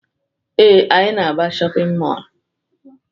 Ee, anyị na-aga shọpịn mọọlụ.